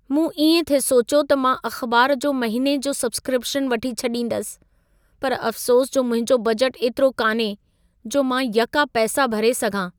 मूं इएं थिए सोचियो त मां अख़िबार जो महिने जो सब्सक्रिपिशन वठी छॾींदसि। पर अफ़्सोस जो मुंहिंजो बजट एतिरो कान्हे, जो मां यका पैसा भरे सघां।